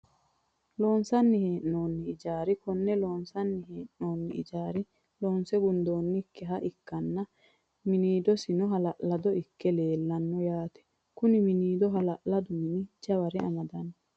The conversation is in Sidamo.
Loonsani heenoni ijaaea kone loonsani henooni ijaara loonse gundoonikiha ikanna miniidosilo halalado ikke leelano yate kunu miniido halaladu mini jaware amadano.